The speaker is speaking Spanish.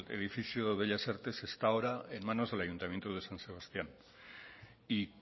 edificio bellas artes está ahora en manos del ayuntamiento de san sebastián y